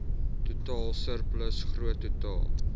totaal surplus groottotaal